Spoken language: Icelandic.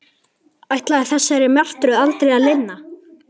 Ætlaði þessari martröð aldrei að linna?